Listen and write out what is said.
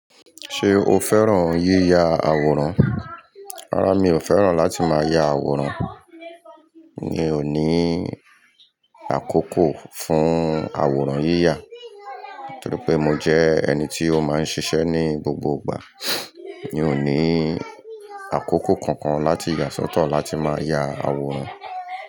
Ṣé o fẹ́ràn yíya àwòrán? Rárá mi ò fẹ́ràn láti máa ya àwòrán. Mi ò ní àkókò fún àwòrán yíya torí pé mo jẹ́ ẹni tí ó máa ń ṣiṣẹ́ ní gbogbo ìgbà. Mi ò ní àkókò kankan láti yà sọ́tọ̀ láti máa ya àwòrán.